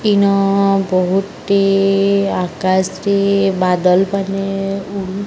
ଇନ ବହୁତ ଟେ ଆକାଶ ଟେ ବାଦଲ୍ ପାନେ ଉ --